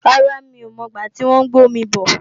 Rárá, mí ò mọ̀ gbá tí wọ́n ń gbé omi bò